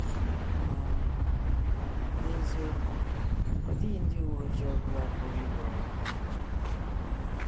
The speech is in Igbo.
Ma n’eziokwu, ọ dịghị ndị uwe ojii ọ bụla pụrụ ịgbanwe ọha mmadụ.